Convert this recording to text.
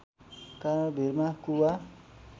कारण भीरमा कुवा